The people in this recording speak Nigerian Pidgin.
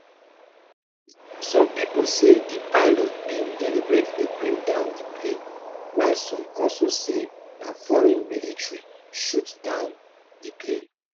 some pipo say di pilot bin deliberately bring down di plane while some also say na foreign military shoot down di plane